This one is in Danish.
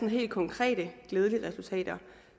helt konkrete glædelige resultater